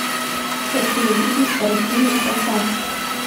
хочу увидеть картину красавчик